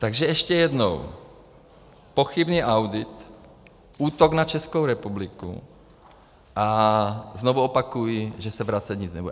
Takže ještě jednou - pochybný audit, útok na Českou republiku, a znovu opakuji, že se vracet nic nebude.